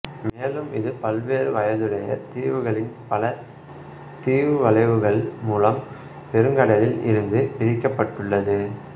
மேலும் இது பல்வேறு வயதுடைய தீவுகளின் பல தீவு வளைவுகள் மூலம் பெருங்கடலில் இருந்து பிரிக்கப்பட்டுள்ளது